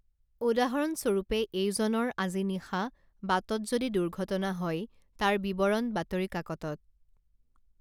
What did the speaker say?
উদাহৰণস্বৰূপে এইজনৰ আজি নিশা বাটত যদি দুৰ্ঘটনা হয় তাৰ বিৱৰণ বাতৰিকাকতত